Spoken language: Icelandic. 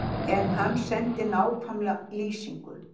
En hann sendi nákvæma lýsingu.